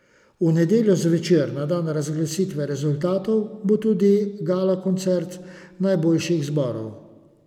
V nedeljo zvečer, na dan razglasitve rezultatov, bo tudi galakoncert najboljših zborov.